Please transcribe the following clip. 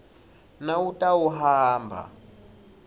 nawutawuhamba